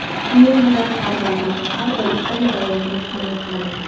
Men vatanparvarman va har doim Italiya bayrog‘ini himoya qilaman.